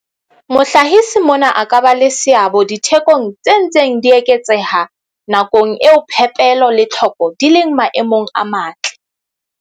Mohlahisi mona a ka ba le seabo dithekong tse ntseng di eketseha nakong eo phepelo le tlhoko di leng maemong a matle.